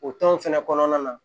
O tɔn fɛnɛ kɔnɔna na